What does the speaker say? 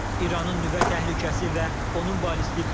İranın nüvə təhlükəsi və onun ballistik raketləri.